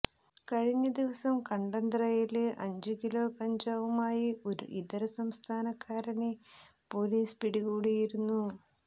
കഴിഞ്ഞ ദിവസം കണ്ടന്തറയില് അഞ്ച് കിലോ കഞ്ചാവുമായി ഒരു ഇതര സംസ്ഥാനക്കാരനെ പോലീസ് പിടികൂടിയിരുന്നു